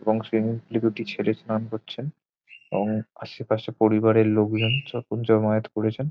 এবং swimming pool -এ দুটি ছেলে স্নান করছেন এবং আশেপাশে পরিবারের লোকজন সব জমায়েত করেছেন।